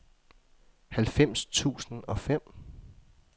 halvfems tusind og fem